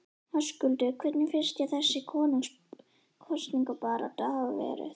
Höskuldur: Hvernig finnst þér þessi kosningabarátta hafa verið?